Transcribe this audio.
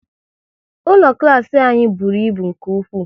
Ụlọ klas anyị bụrụ ịbụ nke ụkwụ